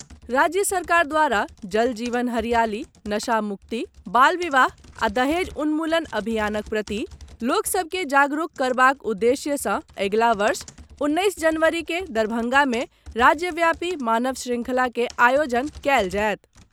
राज्य सरकार द्वारा जल जीवन हरियाली, नशा मुक्ति, बाल विवाह आ दहेज उन्मूलन अभियानक प्रति लोक सभ के जागरूक करबाक उद्देश्य सँ अगिला वर्ष उन्नैस जनवरी के दरभंगा मे राज्यव्यापी मानव श्रृंखला के आयोजन कयल जायत।